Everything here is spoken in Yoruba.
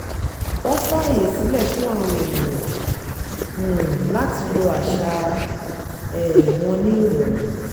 wọ́n fàyè sílẹ̀ fún àwọn ènìyàn um láti lo àṣà um wọn ní ìrọ̀rùn